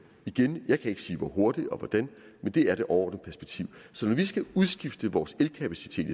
igen jeg kan ikke sige hvor hurtigt og hvordan men det er det overordnede perspektiv så når vi skal udskifte vores elkapacitet